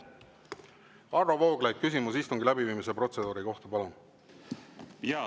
Varro Vooglaid, küsimus istungi läbiviimise protseduuri kohta, palun!